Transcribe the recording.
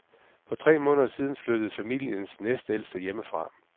For tre måneder siden flyttede familiens næstældste hjemmefra.